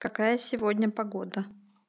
какая сегодня погода